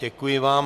Děkuji vám.